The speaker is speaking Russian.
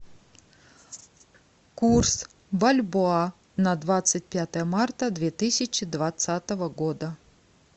курс бальбоа на двадцать пятое марта две тысячи двадцатого года